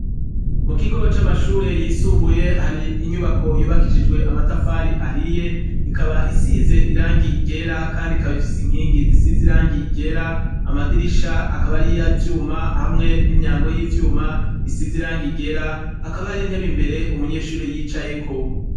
Mukigo c'amashure yisumbuye hari inyubako yubakishijwe amatafari ahiye ikaba isize irangi ryera kandi ikaba ifise inkingi zisize irangi ryera amadirisha akaba ari ivyuma hamwe n' imiryango y' ivyuma isize irangi ryera hakaba hari intebe imbere umunyeshuri yicayeko.